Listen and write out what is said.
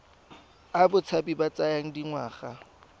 a botshabi a tsaya dingwaga